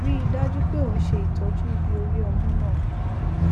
rí i dájú pé ò ń ṣe ìtọjú ibi orí ọmú náà